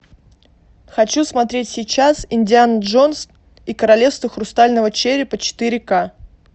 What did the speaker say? хочу смотреть сейчас индиана джонс и королевство хрустального черепа четыре ка